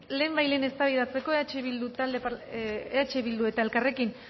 lehenbailehen eztabaidatzeko eh bildu eta elkarrekin